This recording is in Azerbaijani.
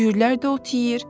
Cüyürlər də ot yeyir.